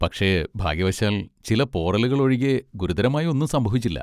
പക്ഷേ, ഭാഗ്യവശാൽ, ചില പോറലുകൾ ഒഴികെ ഗുരുതരമായി ഒന്നും സംഭവിച്ചില്ല.